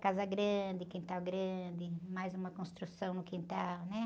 Casa grande, quintal grande, mais uma construção no quintal, né?